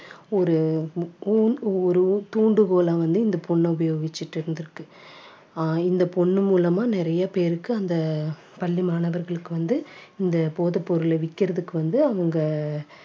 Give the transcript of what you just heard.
ஒரு ஊண் ஒரு தூண்டுகோலை வந்து இந்த பொண்ணு உபயோகிச்சிட்டு இருந்திருக்கு அஹ் இந்த பொண்ணு மூலமா நிறைய பேருக்கு அந்த பள்ளி மாணவர்களுக்கு வந்து இந்த போதைப் பொருளை விக்கிறதுக்கு வந்து அவங்க